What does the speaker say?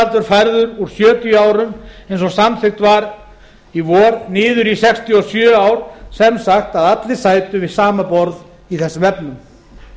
viðmiðunaraldur færður úr sjötíu árum eins og samþykkt var í vor niður í sextíu og sjö ár sem sagt að allir sætu við sama borð í þessum efnum